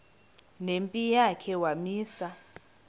nempi yakhe wamisa